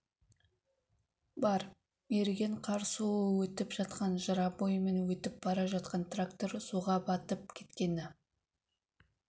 бар еріген қар суы өтіп жатқан жыра бойымен өтіп бара жатқан трактор суға батып кеткені